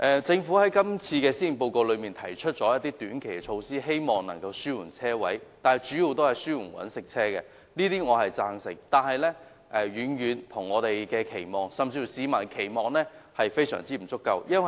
政府在今次的施政報告中提出一些短期措施，希望能夠紓緩車位的短缺，但紓緩的主要是商用車輛，這些措施我均贊同，但遠遠未達我們甚至市民的期望，措施非常不足夠。